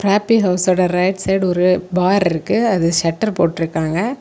Trophy ஹவுஸோட right side ஒரு bar இருக்கு அது ஷட்டர் போட்ருக்காங்க.